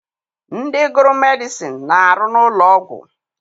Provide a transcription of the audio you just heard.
Ndị gụrụ medịcịn na-arụ n'ụlọọgwụ.